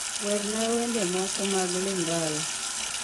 werna wende moko mag lingala